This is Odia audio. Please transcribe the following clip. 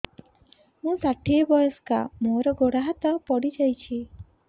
ମୁଁ ଷାଠିଏ ବୟସ୍କା ମୋର ଗୋଡ ହାତ ପଡିଯାଇଛି